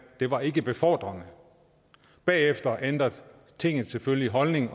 det var ikke befordrende bagefter ændrede tinget selvfølgelig holdning